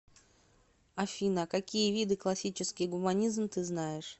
афина какие виды классический гуманизм ты знаешь